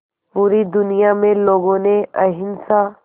पूरी दुनिया में लोगों ने अहिंसा